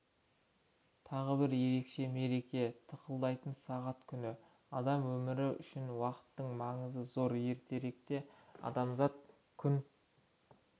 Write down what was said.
тағы бір ерекше мереке тықылдайтын сағат күні адам өмірі үшін уақыттың маңызы зор ертеректе адамзат күн